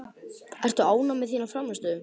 Ertu ánægð með þína frammistöðu?